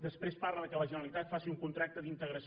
després parla que la generalitat faci un contracte d’integració